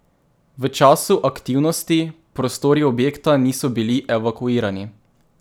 V času aktivnosti prostori objekta niso bili evakuirani.